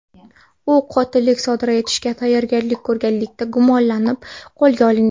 U qotillik sodir etishga tayyorgarlik ko‘rganlikda gumonlanib qo‘lga olingan.